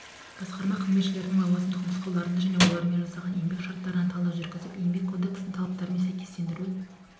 басқарма қызметшілерінің лауазымдық нұсқаулықтарына және олармен жасалған еңбек шарттарына талдау жүргізіп еңбек кодексінің талаптарымен сәйкестендіру